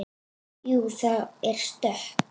Jú, það er stökk.